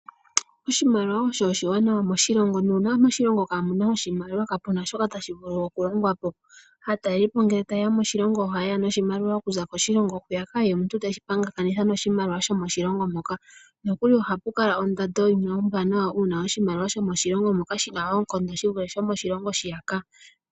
Oshimaliwa osho oshiwanawa moshilongo nuuna moshilongo mwaana Oshimaliwa kapuna shoka tashi vulu oku longwapo, aatalelipo ngele taye ya moshilongo oha yeya noshimaliwa okuza koshilongo hwiyaka ye omuntu teshi pingakanitha noshimaliwa sho moshilongo moka nokuli ohapu kala ondando yimwe ombwanawa uuna oshimaliwa sho moshilongo moka shina oonkondo shi vule sho moshilongo hwiyaka.